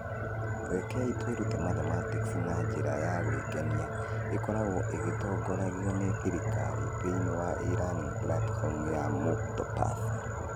Rekei twĩrute Mathematics na njĩra ya gwĩkenia) ĩkoragwo ĩgĩtongoragio nĩ thirikari thĩinĩ wa e-Learning platform ya Muktopaath.